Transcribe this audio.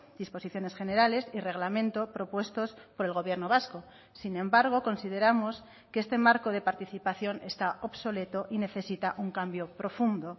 disposiciones generales y reglamento propuestos por el gobierno vasco sin embargo consideramos que este marco de participación está obsoleto y necesita un cambio profundo